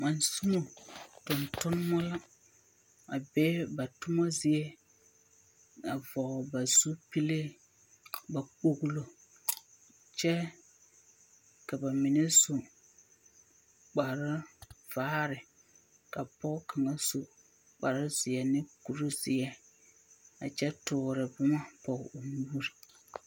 Mansumo tontonebͻ la a be ba toma zie a vͻgele ba zupili ba kpogilo kyԑ ka ba mine su kpare vaare, ka pͻge kaŋa su kpare zeԑ ne kuri zeԑ a kyԑ toore boma pͻge o nuuri.